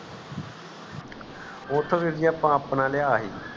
ਓਥੋਂ ਵੀਰ ਜੀ ਅੱਪਾ ਆਪਣਾ ਲਿਆ ਸੀ